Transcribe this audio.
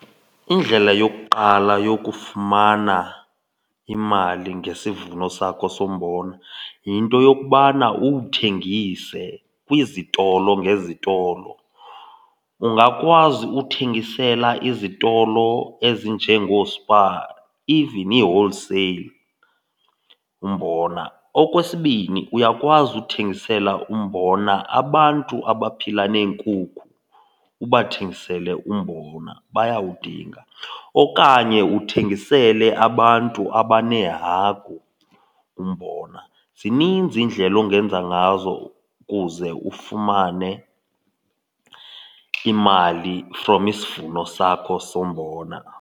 Indlela yokuqala yokufumana imali ngesivuno sakho sombona yinto yokubana uwuthengise kwizitolo ngezitolo. Ungakwazi ukuthengisela izitolo ezinjengooSpar, even ii-wholesale, umbona. Okwesibini, uyakwazi uthengisela umbona abantu abaphila neenkukhu, ubathengisele umbona bayawudinga. Okanye uthengisele abantu abaneehagu umbona. Zininzi iindlela ongenza ngazo ukuze ufumane imali from isivuno sakho sombona.